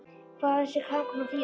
Hvað á þessi samkoma að þýða.